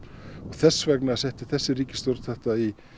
og þess vegna setti þessi ríkisstjórn þetta í